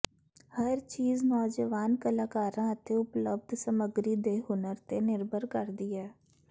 ਹਰ ਚੀਜ਼ ਨੌਜਵਾਨ ਕਲਾਕਾਰਾਂ ਅਤੇ ਉਪਲਬਧ ਸਮੱਗਰੀ ਦੇ ਹੁਨਰ ਤੇ ਨਿਰਭਰ ਕਰਦੀ ਹੈ